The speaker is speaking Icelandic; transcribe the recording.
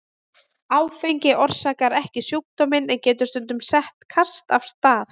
Áfengi orsakar ekki sjúkdóminn en getur stundum sett kast af stað.